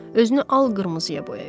Özünü al-qırmızıya boyayıb.